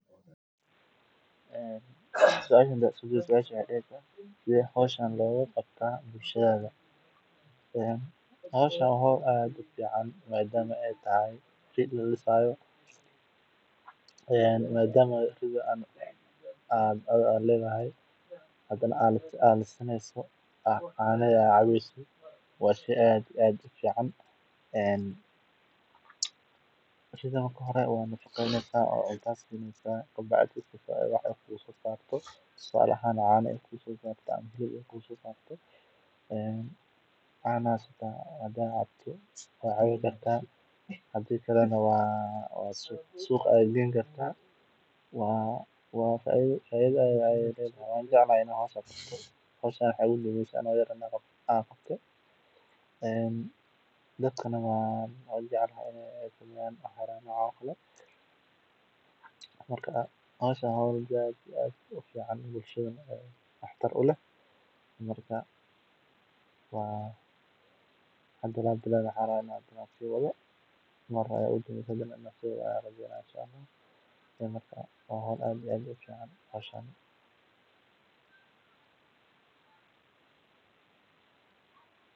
Ariga oo lamalayo tayadeedu waxay saameyn ku leedahay caafimaadka qofka, iyadoo cuntada wanaagsan ay yarayso halista cudurrada halka cuntada aan dheellitiraneyn ay keeni karto dhibaatooyin caafimaad sida buurnida, sonkorowga ama dhiig-karka. Sidaas darteed, fahamka iyo doorashada cunto caafimaad leh waa tallaabo muhiim u ah nolosha caafimaadka leh.